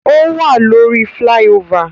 O wa lórí flyover